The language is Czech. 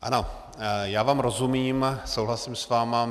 Ano, já vám rozumím, souhlasím s vámi.